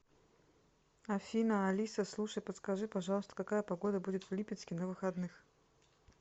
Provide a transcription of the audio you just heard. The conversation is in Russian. афина алиса слушай подскажи пожалуйста какая погода будет в липецке на выходных